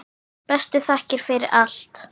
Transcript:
Bestu þakkir fyrir allt.